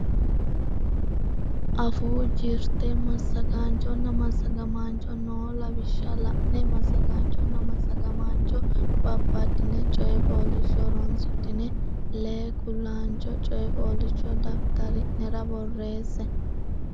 Afuu Jirte Massagaanchonna Massagamaancho noo lawishsha la ine massagaanchonna massagamaancho babbaddine coy fooliishsho horonsidhine lee kulaancho coy fooliishsho daftari nera borreesse.